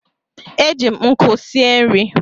E ji m nkụ sie nri.